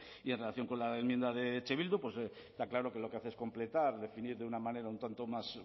y en relación con la enmienda de eh bildu está claro que lo que hace es completar definir de una manera un tanto más